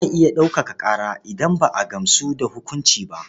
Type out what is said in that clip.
Za a iya ɗaukaka ƙara idan ba a gamsu da hukunci ba.